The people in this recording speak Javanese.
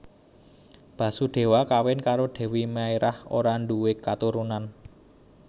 Basudéwa kawin karo Dèwi Maerah ora ndhuwe katurunan